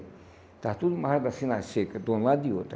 Estava tudo amarrado assim na seca, de um lado e do outro.